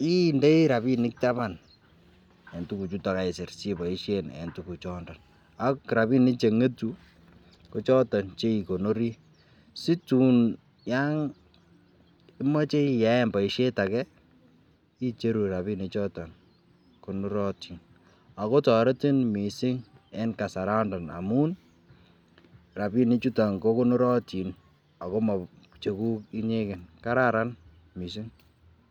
indoi rabinik taban en tukuk chuton en tukuk choton ak rabinik chenyetu KO choton Che ikonori asitun yon karimach icheru rabinik choton konorotin ako toretin mising en kasaraton amun rabinik chuton ko konorotin akomocheguk inyegen ako kararan mising